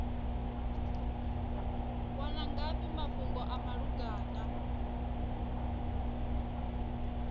wana ngafhi mafhungo a malugana